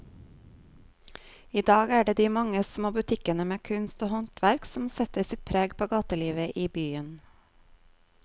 I dag er det de mange små butikkene med kunst og håndverk som setter sitt preg på gatelivet i byen.